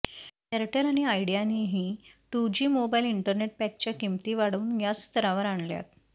Airtel आणि आयडियानंही two G mobile internet पॅकच्या किंमती वाढवून याच स्तरावर आणल्यात